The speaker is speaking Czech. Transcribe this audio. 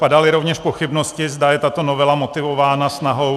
Padaly rovněž pochybnosti, zda je tato novela motivována snahou...